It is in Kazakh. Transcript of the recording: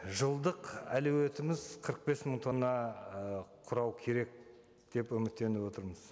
жылдық әлеуетіміз қырық бес мың тонна ы құрау керек деп үміттеніп отырмыз